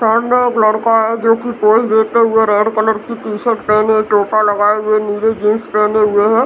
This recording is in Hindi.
सामने एक लड़का है जो की पोज़ देते हुए रेड कलर की टी-शर्ट पहने टोपा लगाये हुए नीली जीन्स पहने हुए है ।